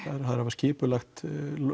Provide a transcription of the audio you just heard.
skipulagt